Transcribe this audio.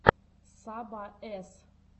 саба эс